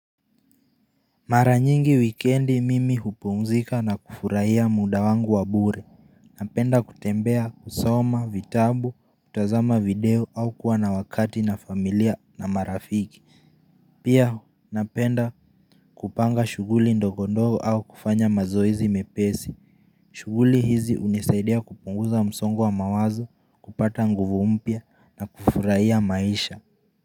Mara nyingi wikendi mimi hupumzika na kufurahia muda wangu wa bure Napenda kutembea, kusoma, vitabu, kutazama video au kuwa na wakati na familia na marafiki Pia napenda kupanga shughuli ndogo ndogo au kufanya mazoezi mepesi, shughuli hizi hunisaidia kupunguza msongo wa mawazo kupata nguvu mpya na kufurahia maisha.